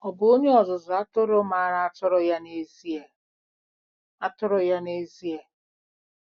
Ọ bụ onye ọzụzụ atụrụ maara atụrụ ya n'ezie! atụrụ ya n'ezie!